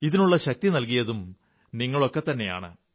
ഇതിനുള്ള ശക്തി നല്കിയതും നിങ്ങളൊക്കെത്തന്നെയാണ്